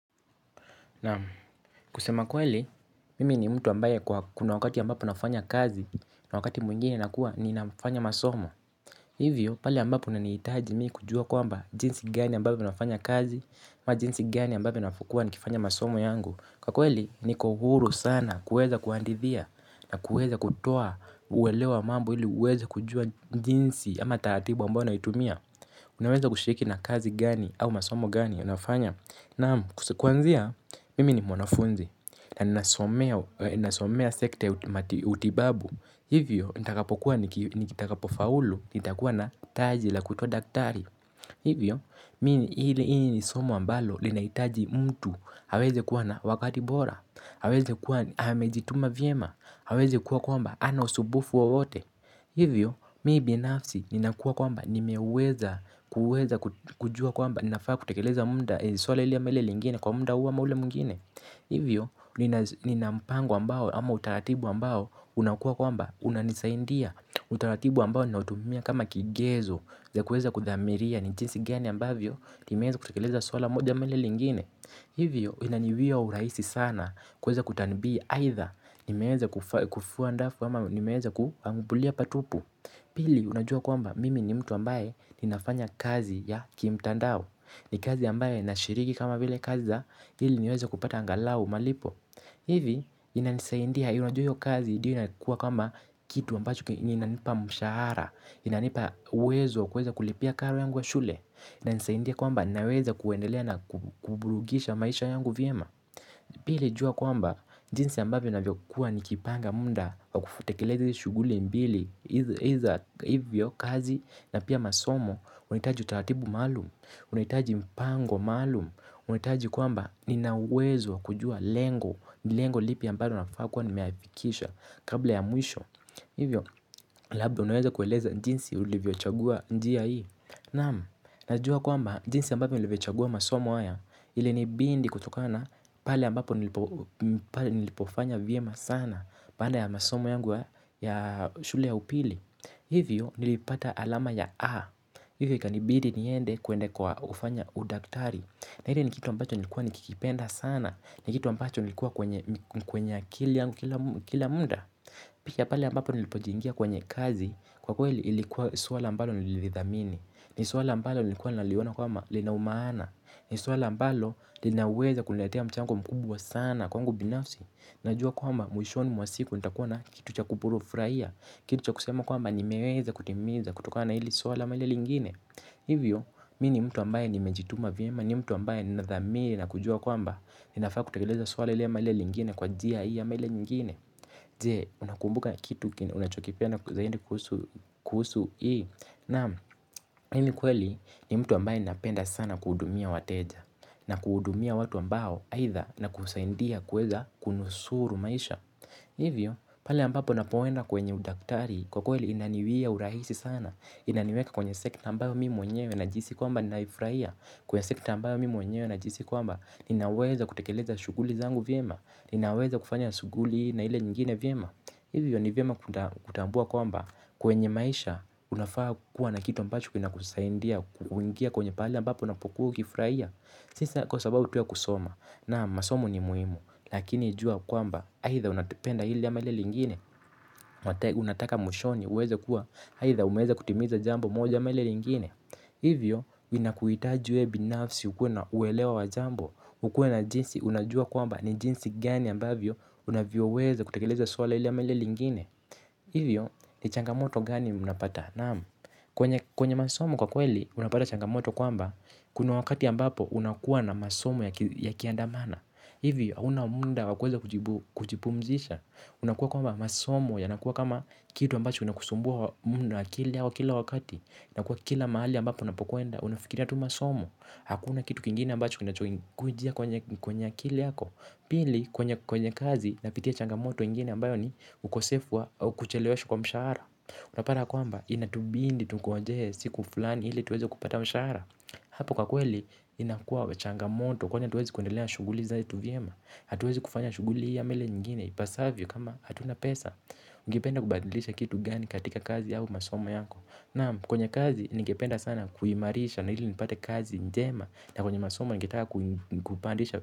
Nam kusema kweli, mimi ni mtu ambaye kuna wakati ambapo nafanya kazi na wakati mwingine na kuwa ni nafanya masomo. Hivyo, pale ambapo ninahitaji mimi kujua kwamba jinsi gani ambapo ninafanya kazi na jinsi gani ambapo ninafuata kufanya masomo yangu, kwa kweli, ni muhimu sana kuweza kuandika na kuweza kutoa uelewa wa mambo ili uweze kujua jinsi au taratibu ambayo ninatumia. Unaweza kushiriki na kazi gani au masomo gani ninayofanya? Naam, kuanzia mimi ni mwanafunzi, na nasomea sekta ya utibabu hivyo nitakapofaulu nitakuwa na taji la kuitwa daktari. Hivyo hili ni somo ambalo linahitaji mtu aweze kuwa na wakati bora, aweze kuwa amejituma vyema, aweze kuwa kwamba hana usumbufu wowote. Hivyo mimi binafsi ninakuwa kwamba nimeweza kuweza kujua kwamba ninafaa kutekeleza muda swala hili ama lile lingine kwa muda huu ama ule mwingine. Hivyo nina mpango ambao ama utaratibu ambao unakua kwamba unanisaindia. Utaratibu ambao ninautumia kama kigezo cha kuweza kuthamiria ni jinsi gani ambavyo nimeweza kutekeleza swala moja ama lile lingine. Hivyo inaniwia urahisi sana kuweza kutanibii aidha. Nimeweza kufua ndafu ama nimeweza kuambulia patupu. Pili unajua kwamba mimi ni mtu ambaye ninafanya kazi ya kimtandao. Ni kazi ambayo inashiriki kama vile kazi za ili niweza kupata angalau malipo. Hivi inanisaindia unajua na hiyo kazi ndiyo inakua kama kitu ambacho inanipa mshahara. Inanipa uwezo wa kuweza kulipia karo yangu wa shule inanisaindia kwamba naweza kuendelea na kuburugisha maisha yangu vyema. Pili jua kwamba jinsi ambayo navyokuwa nikipanga muda wakutekeleza hizi shughuli mbili. Hivyo kazi na pia masomo unahitaji utaratibu maalum unahitaji mpango maalum unahihitaji kwamba nina uwezo wa kujua lengo, lengo lipi ambalo nafaa kuwa nimeaifikisha kabla ya mwisho. Hivyo labda unaweza kueleza jinsi ulivyochagua njia hii. Naam, najua kwamba jinsi ambavyo nilivyochagua masomo haya ilinibidi kutokana na pale ambapo nilipofanya vyema sana baada ya masomo yangu ya shule ya upili. Hivyo nilipata alama ya A, Hivyo ikanibidi niende kwenda kwa kufanya udaktari, na hicho ni kitu ambacho nilikuwa nikikipenda sana ni kitu ambacho kilikuwa kwenye akili yangu kila muda pia pale ambapo niliingia kwenye kazi. Kwa kweli lilikuwa swala ambalo nililithamini, ni swala ambalo nilikuwa naliona kama lina umaana, ni swala ambalo linaweza kuniletea mchango mkubwa sana kwangu binafsi. Najua kwamba mwishoni mwa siku nitakua na kitu cha kufurahia, kitu cha kusema kwamba nimeweza kutimiza kutokana na hili swala ama lile lingine. Hivyo, mi ni mtu ambaye nimejituma vyema. Ni mtu ambaye ninadhamini na kujua kwamba ninafaa kutekeleza swala lile ama lile lingine kwa njia hii ama ile nyingine. Je, unakumbuka kitu unachokipenda zai kuhusu hii, naam, mimi kweli ni mtu ambaye napenda sana kuhudumia wateja na kuhudumia watu ambao aidha na kusaidia kuweza kunusuru maisha. Hivyo, pale ambapo napoenda kwenye udaktari kwa kweli inaniwia urahisi sana. Inaniweka kwenye sekta ambayo mimi mwenyewe najisi kwamba ninaifurahia, kwenye sekta ambayo mimi mwenyewe najihisi kwamba ninaweza kutekeleza shughuli zangu vyema. Ninaweza kufanya shughuli na ile nyingine vyema. Hivyo ni vyema kutambua kwamba kwenye maisha unafaa kuwa na kitu ambacho kinakusaidia kuingia kwenye pahali ambapo unapokuwa ukifurahia. Si sa kwa sababu tu ya kusoma naam masomo ni muhimu lakini jua kwamba aidha unapenda hili ama lile lingine Mwatae unataka mwishoni uweze kuwa aidha ueweza kutimiza jambo moja lile lingine. Hivyo inakuhitaji we binafsi ukuwe na uelewa wa jambo ukuwe na jinsi unajua kwamba ni jinsi gani ambavyo unavyoweza kutekeleza swala hili ama lile lingine. Hivyo ni changamoto gani unapata? Naam kwenye masomo kwa kweli, unapata changamoto kwamba, kuna wakati ambapo unakuwa na masomo yakiandamana. Hivyo, hauna muda wa kuweza kujipumzisha. Unakuwa kwamba masomo yanakuwa kama kitu ambacho kinakusumbua muda akili yako kila wakati na kwa kila mahali ambapo unapokwenda, unafikiria tu masomo. Hakuna kitu kingine ambacho kwenye akili yako. Pili, kwenye kazi, napitia changamoto ingine ambayo ni ukosefu kucheleweshwa kwa mshahara. Unapata ya kwamba inatubidi tungojee siku fulani ili tuweze kupata mshahara. Hapo kwa kweli inakua changamoto kwani hatuwezi kuendelea shughuli na shughuli zetu vyema, hatuwezi kufanya shughuli hii ya ama ile nyingine. Ipasavyo kama hatuna pesa. Ungependa kubadilisha kitu gani katika kazi yao masomo yako. Naam, kwenye kazi ningependa sana kuimarisha na ili nipate kazi njema na kwenye masomo ningetaka kupandisha.